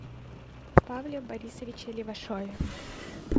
павле борисовиче левашове